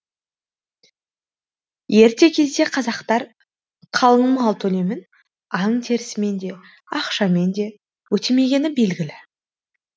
ерте кезде қазақтар қалыңмал төлемін аң терісімен де ақшамен де өтемегені белгілі